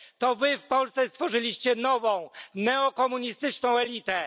To wy w Polsce stworzyliście nową neokomunistyczną elitę.